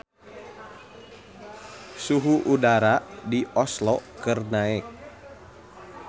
Suhu udara di Oslo keur naek